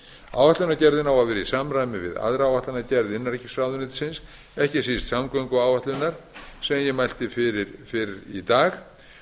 á að vera í samræmi við aðra áætlunargerð innanríkisráðuneytisins ekki síst samgönguáætlunar sem ég mæli fyrir fyrr í dag